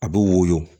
A bɛ woyo